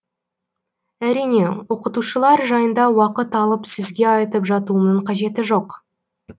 әрине оқытушылар жайында уақыт алып сізге айтып жатуымның қажеті жоқ